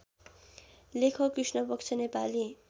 लेखक कृष्णपक्ष नेपाली